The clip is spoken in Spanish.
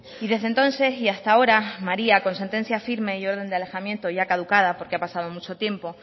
y desde entonces y hasta ahora maría con sentencia firme y orden de alejamiento ya caducada porque ha pasado mucho tiempo